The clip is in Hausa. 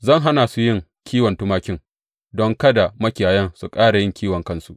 Zan hana su yin kiwon tumakin don kada makiyayan su ƙara yin kiwon kansu.